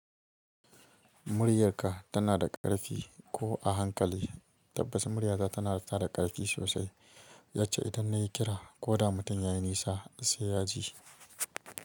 Muryarka tana da ƙarfi ko a hankali, tabbas muryata tana da ƙarfi sosai, yacce idan na yi kira ko da mutum ya yi nisa sai ya ji.